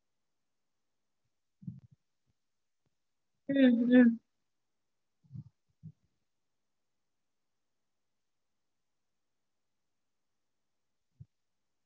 okay mam non vegetarian வேணுங்களா mam? சரிங் mam mam actually உங்கள்து mail ID அனுப்பறீங்களா? உங்க mail ID நீங்க சொன்னீங்கனா நா உங்க mail க்கு அனுப்பறேன் mam menu.